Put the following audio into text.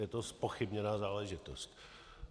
Je to zpochybněná záležitost.